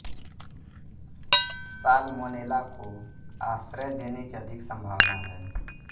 salmonella को आश्रय देने की अधिक संभावना है